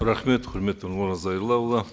рахмет құрметті нұрлан зайроллаұлы